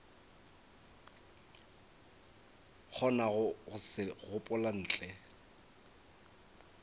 kgonago go se gopola ntle